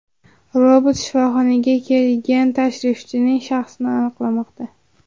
Robot shifoxonaga kelgan tashrifchining shaxsini aniqlamoqda.